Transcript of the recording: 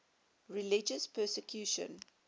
religious persecution